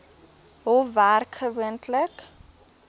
hof werk gewoonlik